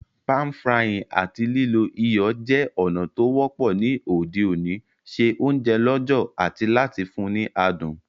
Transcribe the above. Pan-frying áti lílo iyọ̀ je ònà to wọ́pọ́ ni òde òní se ounje lọ̀jọ̀ ati láti fun ni adùn